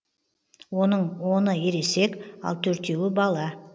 оның оны ересек ал төртеуі бала